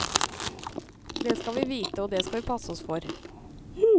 Det skal vi vite, og det skal vi passe oss for.